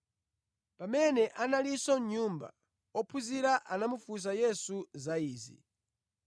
Pamene analinso mʼnyumba, ophunzira anamufunsa Yesu za izi.